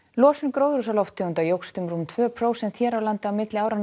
losun gróðurhúsalofttegunda jókst um rúm tvö prósent hér á landi á milli áranna